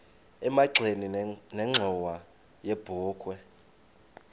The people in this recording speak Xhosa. emagxeni nenxhowa yebokhwe